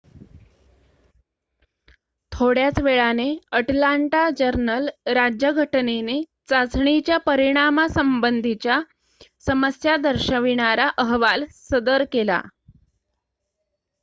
थोड्याच वेळाने अटलांटा जर्नल-राज्यघटनेने चाचणीच्या परिणामासंबंधीच्या समस्या दर्शवणारा अहवाल सदर केला